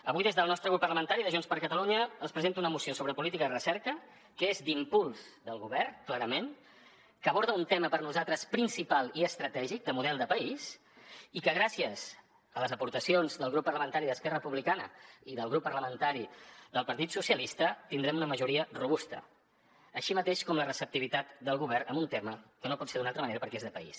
avui des del nostre grup parlamentari de junts per catalunya els presento una moció sobre política de recerca que és d’impuls del govern clarament que aborda un tema per nosaltres principal i estratègic de model de país i que gràcies a les aportacions del grup parlamentari d’esquerra republicana i del grup parlamentari del partit socialistes tindrem una majoria robusta així mateix com la receptivitat del govern en un tema que no pot ser d’una altra manera perquè és de país